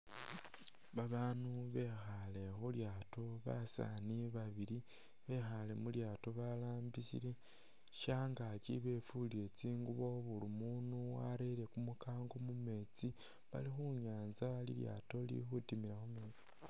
Babaanu bekhaale khu lyaato basaani babili, bekhaale mu lyaato balambisile. Shangaaki befulile tsingubo buli mundu warere kumukango mu meetsi bali khu nyaanza lilyaato lili khutimilakho.